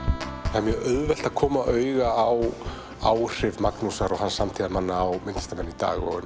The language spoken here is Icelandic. það er mjög auðvelt að koma auga á áhrif Magnúsar og hans samtíðarmanna á myndlistarmenn í dag og